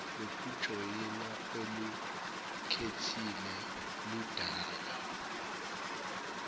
lokujoyina olukhethile ludala